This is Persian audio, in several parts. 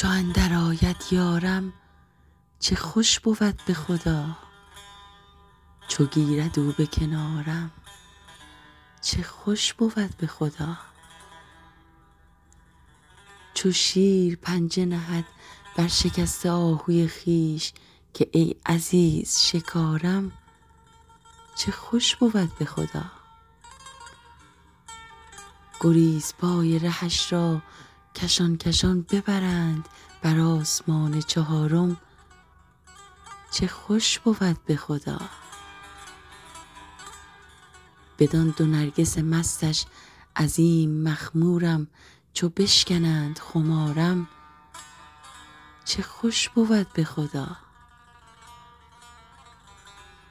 چو اندرآید یارم چه خوش بود به خدا چو گیرد او به کنارم چه خوش بود به خدا چو شیر پنجه نهد بر شکسته آهوی خویش که ای عزیز شکارم چه خوش بود به خدا گریزپای رهش را کشان کشان ببرند بر آسمان چهارم چه خوش بود به خدا بدان دو نرگس مستش عظیم مخمورم چو بشکنند خمارم چه خوش بود به خدا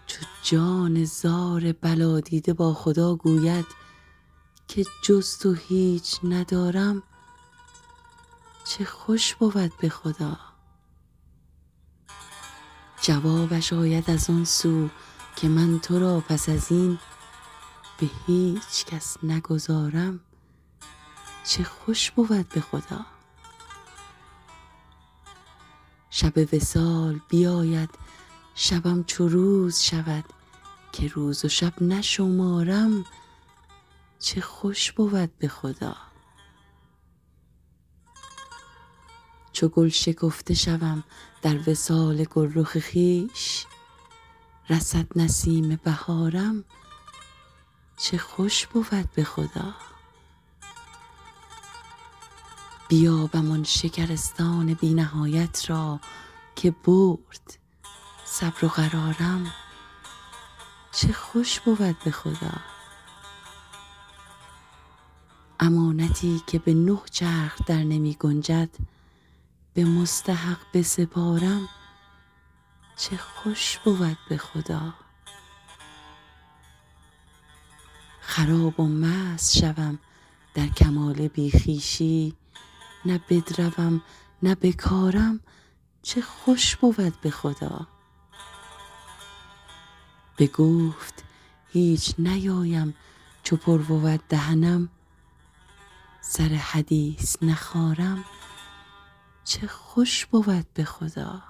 چو جان زار بلادیده با خدا گوید که جز تو هیچ ندارم چه خوش بود به خدا جوابش آید از آن سو که من تو را پس از این به هیچ کس نگذارم چه خوش بود به خدا شب وصال بیاید شبم چو روز شود که روز و شب نشمارم چه خوش بود به خدا چو گل شکفته شوم در وصال گلرخ خویش رسد نسیم بهارم چه خوش بود به خدا بیابم آن شکرستان بی نهایت را که برد صبر و قرارم چه خوش بود به خدا امانتی که به نه چرخ درنمی گنجد به مستحق بسپارم چه خوش بود به خدا خراب و مست شوم در کمال بی خویشی نه بدروم نه بکارم چه خوش بود به خدا به گفت هیچ نیایم چو پر بود دهنم سر حدیث نخارم چه خوش بود به خدا